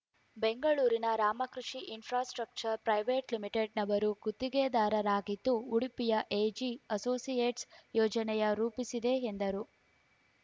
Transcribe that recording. ಬೆಂಗಳೂರಿನ Ramkrishi Infrastructure Private Limited ನವರು ಗುತ್ತಿಗೆದಾರರಾಗಿದ್ದು ಉಡುಪಿಯ ಎಜಿ ಅಸೋಸಿಯೇಟ್ಸ್‌ ಯೋಜನೆಯ ರೂಪಿಸಿದೆ ಎಂದರು